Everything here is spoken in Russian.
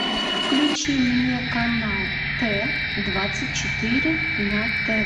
включи мне канал т двадцать четыре на т